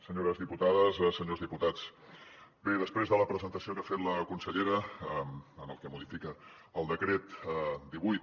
senyores diputades senyors diputats bé després de la presentació que ha fet la consellera en el que modifica el decret divuit